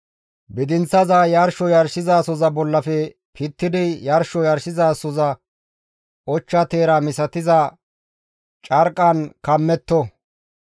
Bidinththaza yarsho yarshizasoza bollafe pittidi yarsho yarshizasoza ochcha teera misatiza carqqan kammetto.